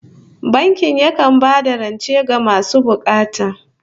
Banki yakan ba da rance ga masu bukata